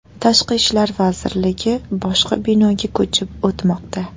Tashqi ishlar vazirligi boshqa binoga ko‘chib o‘tmoqda.